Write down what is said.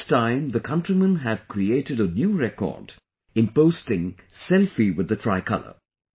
This time the countrymen have created a new record in posting Selfie with the tricolor